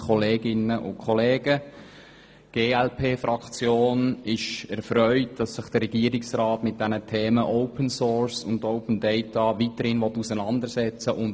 Die glp-Fraktion ist erfreut, dass sich der Regierungsrat mit den Themen Open Source und Open Data weiterhin auseinandersetzen will.